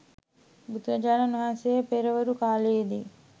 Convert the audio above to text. බුදුරජාණන් වහන්සේ පෙරවරු කාලයේ දී